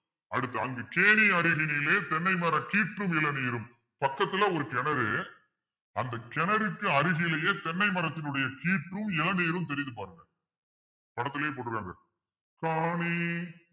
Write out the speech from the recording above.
அடுத்து அங்கு கேணி அருகினிலே தென்னை மர கீற்று மிளநீரும் பக்கத்துல ஒரு கிணறு. அந்தக் கிணறுக்கு அருகிலேயே தென்னை மரத்தினுடைய கீற்றும் மிளநீரும் தெரியுது பாருங்க படத்திலேயே போட்டிருக்காங்க காணி